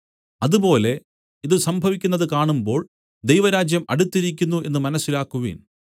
അതുപോലെ ഇതു സംഭവിക്കുന്നത് കാണുമ്പോൾ ദൈവരാജ്യം അടുത്തിരിക്കുന്നു എന്നു മനസ്സിലാക്കുവിൻ